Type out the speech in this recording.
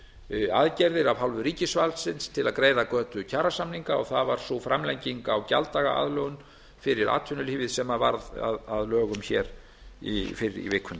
við aðgerðir af hálfu ríkisvaldsins til að greiða götu kjarasamninga og það var sú framlenging á gjalddagaaðlögun fyrir atvinnulífið sem varð að lögum hér fyrr í vikunni